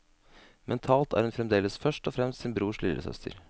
Mentalt er hun fremdeles først og fremst sin brors lillesøster.